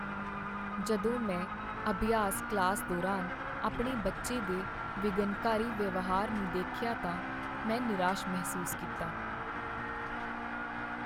ਜਦੋਂ ਮੈਂ ਅਭਿਆਸ ਕਲਾਸ ਦੌਰਾਨ ਆਪਣੇ ਬੱਚੇ ਦੇ ਵਿਘਨਕਾਰੀ ਵਿਵਹਾਰ ਨੂੰ ਦੇਖਿਆ ਤਾਂ ਮੈਂ ਨਿਰਾਸ਼ ਮਹਿਸੂਸ ਕੀਤਾ।